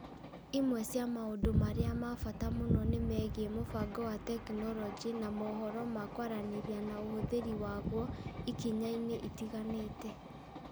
Imwe cia maũndũ marĩa ma bata mũno nĩ mĩgiĩ mũbango wa tekinoronjĩ ya moohoro na kwaranĩria na ũhũthĩri waguo ikinya-inĩ itiganĩte.